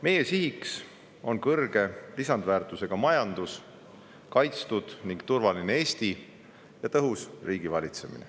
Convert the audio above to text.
Meie siht on kõrge lisandväärtusega majandus, kaitstud ja turvaline Eesti ning tõhus riigivalitsemine.